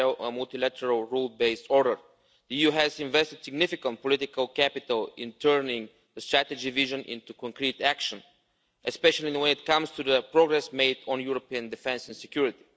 multilateral rules based order. The EU has invested significant political capital in turning the strategy vision into concrete action, especially in terms of the progress made on European defence and security.